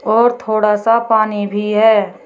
और थोड़ा सा पानी भी है।